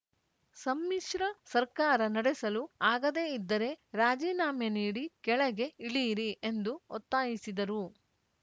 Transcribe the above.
ಸಮ್ಮಿಶ್ರ ಸರ್ಕಾರ ನಡೆಸಲು ಆಗದೆ ಇದ್ದರೆ ರಾಜಿನಾಮೆ ನೀಡಿ ಕೆಳಗೆ ಇಳಿಯಿರಿ ಎಂದು ಒತ್ತಾಯಿಸಿದರು